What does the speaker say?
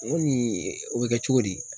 N ko ni o bɛ kɛ cogo di.